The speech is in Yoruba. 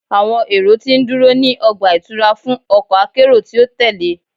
Awọn ero ti nduro ni ọgba-itura fun ọkọ akero ti o tẹle